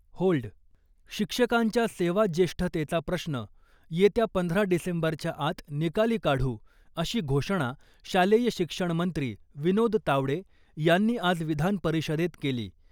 Hold शिक्षकांच्या सेवाज्येष्ठतेचा प्रश्न येत्या पंधरा डिसेंबरच्या आत निकाली काढू , अशी घोषणा शालेय शिक्षणमंत्री विनोद तावडे यांनी आज विधानपरिषदेत केली .